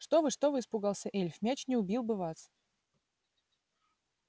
что вы что вы испугался эльф мяч не убил бы вас